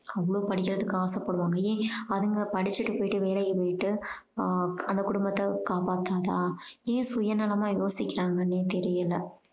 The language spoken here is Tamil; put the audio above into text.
அவ்வளோ படிக்கறத்துக்கு ஆசை படுவாங்க. ஏன் அதுங்க படிச்சுட்டு வீட்டு வேலைக்கு போயிட்டு ஆஹ் அந்த கொடும்பத்த காப்பாத்தாதா ஏன் சுயநலமாயோசிக்கறாங்கன்னே தெரியல